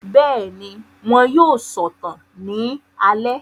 Bẹ́ẹ̀ni, wọn yóò sọ̀tàn ní alẹ́